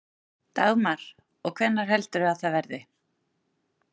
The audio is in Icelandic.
Dagmar: Og hvenær heldurðu að það verði?